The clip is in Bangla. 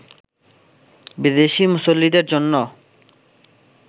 বিদেশি মুসল্লিদের জন্যও